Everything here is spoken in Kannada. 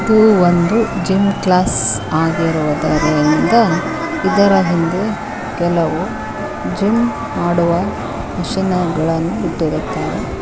ಇದು ಒಂದು ಜಿಮ್ ಕ್ಲಾಸ್ ಆಗಿರುವುದರಿಂದ ಇದರ ಹಿಂದೆ ಕೆಲವು ಜಿಮ್ ಮಾಡುವ ಮಿಷಿನಗಳನ್ನು ಇಟ್ಟಿರುತ್ತಾರೆ.